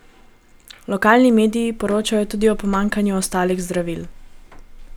Lokalni mediji poročajo tudi o pomanjkanju ostalih zdravil.